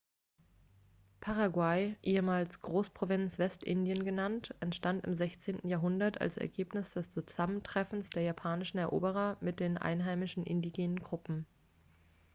paraguay ehemals großprovinz westindien genannt entstand im 16. jahrhundert als ergebnis des zusammentreffens der spanischen eroberer mit den einheimischen indigenen gruppen